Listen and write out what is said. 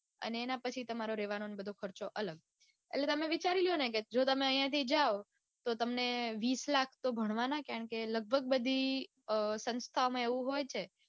અને એના પછી તમારો રેવાનો ને બધો ખર્ચો અલગ. એટલે તમે વિચારી લોને કે જો તમે ઐયાથી જાઓ તો તમને વિસ લાખ તો ભણવાના કારણકે લઘભગ બધી અઅ સંસ્થામાં એવું હોય છે.